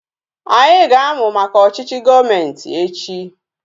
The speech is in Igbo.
Anyị ga-amu maka ọchịchị gọọmenti echi